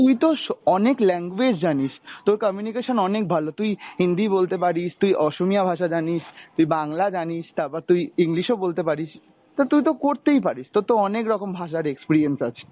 তুই তো স~ অনেক language জানিস, তোর communication অনেক ভালো, তুই হিন্দি বলতে পারিস, তুই অসমীয়া ভাষা জানিস, তুই বাংলা জানিস, তারপর তুই English ও বলতে পারিস, তো তুই তো করতেই পারিস তোর তো অনেক রকম ভাষার experience আছে।